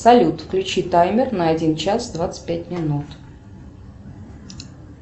салют включи таймер на один час двадцать пять минут